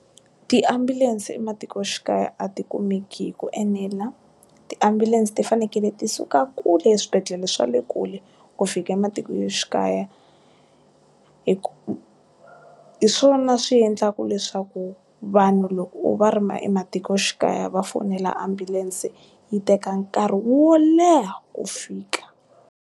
Tiambulense ematikoxikaya a ti kumeki hi ku enela. Tiambulense ti fanekele ti suka kule eswibedhlele swa le kule ku fika ematikoxikaya hi ku, hi swona swi endlaka leswaku vanhu loko va ri ma ematikoxikaya va fonela ambulense yi teka nkarhi wo leha, ku fika.